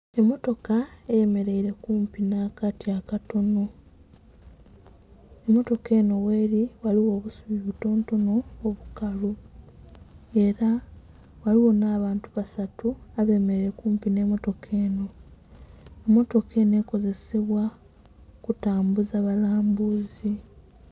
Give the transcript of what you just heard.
Emmotoka eyemeleile kumpi nh'akati akatono. Emmotoka enho gheli ghaligho obusubi obutontono obukalu. Ela ghaligho nh'abantu basatu abemeleile kumpi nh'emmotoka enho. Mmotoka enho ekozesebwa kutambuza balambuuzi.